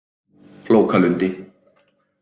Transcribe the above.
Flókalundi